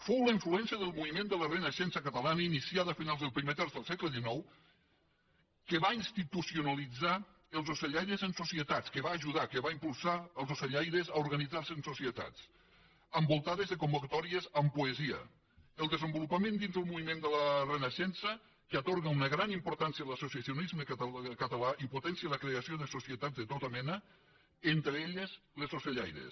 fou la influència del moviment de la renaixença catalana iniciada a finals del primer terç del segle xix que va institucionalitzar els ocellaires en societats que va ajudar que va impulsar els ocellaires a organitzar se en societats envoltades de convocatòries amb poesia el desenvolupament dins el moviment de la renaixença que atorga una gran importància a l’associacionisme català i potencia la creació de societats de tota mena entre elles les ocellaires